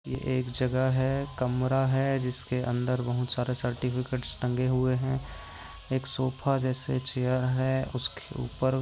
ये एक जगह है कमरा है जिसके अंदर बहुत सारे सर्टिफ़िकेटस टगे हुए है एक सोफा जैसे चेअर है उसके उपर--